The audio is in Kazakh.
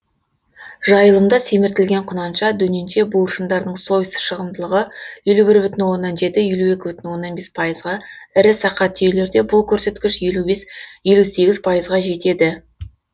жайылымда семіртілген құнанша дөненше буыршындардың сойыс шығымдылығы елу бір бүтін оннан жеті елу екі бүтін оннан бес пайызға ға ірі сақа түйелерде бұлкөрсеткіш елу бес елу сегіз пайызға жетеді